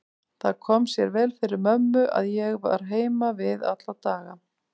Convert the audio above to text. Það kom sér vel fyrir mömmu að ég var heima við alla daga.